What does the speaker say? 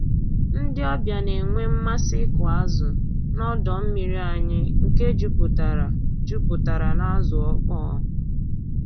Ndị ọbịa na-enwe mmasị ịkụ azụ n'ọdọ mmiri anyị nke juputara juputara n'azụ ọkpọ